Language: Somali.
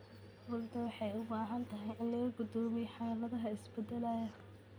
Rugta waxay u baahan tahay in laga go'doomiyo xaaladaha isbeddelaya.